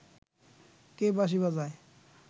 কে বাঁশি বাজায়